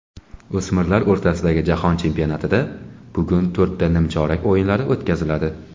O‘smirlar o‘rtasidagi jahon chempionatida bugun to‘rtta nimchorak o‘yinlari o‘tkaziladi.